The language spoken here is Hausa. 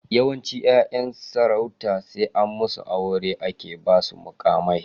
Yawancin 'yayan sarauta sai an musu aure ake basu muƙamai.